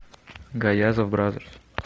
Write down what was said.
гаязов бразерс